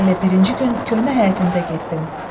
Elə birinci gün köhnə həyətimizə getdim.